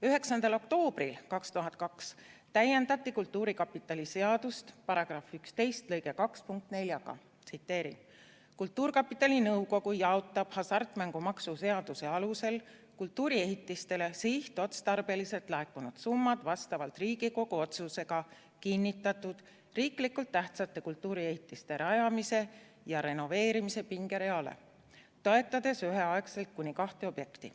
9. oktoobril 2002 täiendati kultuurkapitali seadust § 11 lõike 2 punktiga 4: "Kultuurkapitali nõukogu jaotab hasartmängumaksu seaduse alusel kultuuriehitistele sihtotstarbeliselt laekunud summad vastavalt Riigikogu otsusega kinnitatud riiklikult tähtsate kultuuriehitiste rajamise ja renoveerimise pingereale, toetades üheaegselt kuni kahte objekti.